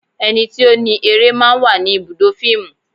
Ẹni tí ó ni eré máa ń wà ní ibùdó fíìmù.